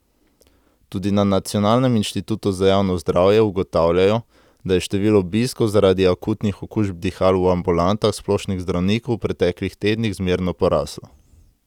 Tudi na Nacionalnem inštitutu za javno zdravje ugotavljajo, da je število obiskov zaradi akutnih okužb dihal v ambulantah splošnih zdravnikov v preteklih tednih zmerno poraslo.